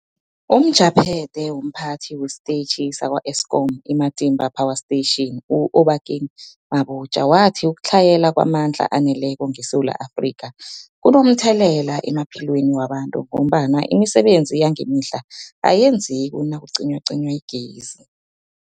UmJaphethe womPhathi wesiTetjhi sakwa-Eskom i-Matimba Power Station u-Obakeng Mabotja wathi ukutlhayela kwamandla aneleko ngeSewula Afrika kunomthelela emaphilweni wabantu ngombana imisebenzi yangemihla ayenzeki nakucinywacinywa igezi.